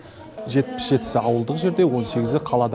жетпіс жетісі ауылдық жерде он сегізі қалада